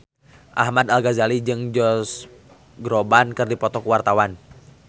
Ahmad Al-Ghazali jeung Josh Groban keur dipoto ku wartawan